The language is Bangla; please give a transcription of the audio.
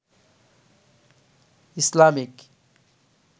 ইসলামিক